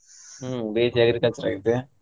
ಹ್ಮ್ B.Sc agriculture ಆಗೈತೆ.